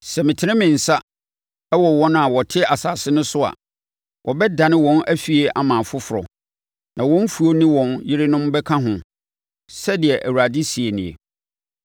Sɛ metene me nsa wɔ wɔn a wɔte asase no so a wɔbɛdane wɔn afie ama afoforɔ, na wɔn mfuo ne wɔn yerenom bɛka ho,” sɛdeɛ Awurade seɛ nie.